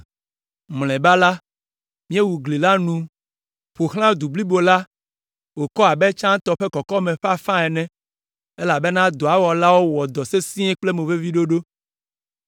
Mlɔeba la, míewu gli la nu ƒo xlã du blibo la wòkɔ abe tsãtɔ ƒe kɔkɔme ƒe afã ene, elabena dɔa wɔlawo wɔ dɔ sesĩe kple moveviɖoɖo.